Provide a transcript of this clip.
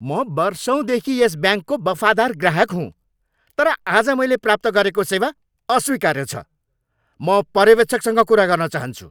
म वर्षौँदेखि यस ब्याङ्कको वफादार ग्राहक हुँ, तर आज मैले प्राप्त गरेको सेवा अस्वीकार्य छ। म पर्यवेक्षकसँग कुरा गर्न चाहन्छु!